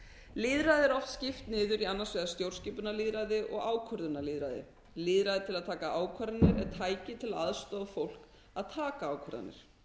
lýðræði er oft skipt niður í annars vegar stjórnskipunarlýðræði og ákvörðunarlýðræði lýðræði til að taka ákvarðanir er tæki til að aðstoða fólk að taka ákvarðanir